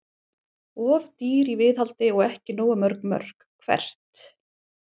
Of dýr í viðhaldi og ekki nógu mörg mörk Hvert?